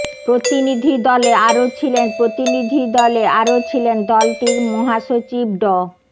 প্রতিনিধি দলে আরও ছিলেন প্রতিনিধি দলে আরও ছিলেন দলটির মহাসচিব ড